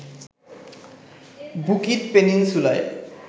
Bukit পেনিনসুলায়